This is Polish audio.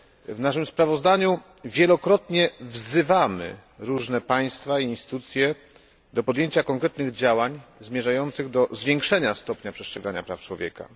W naszym sprawozdaniu wielokrotnie wzywamy różne państwa i instytucje do podjęcia konkretnych działań zmierzających do zwiększenia stopnia przestrzegania praw człowieka.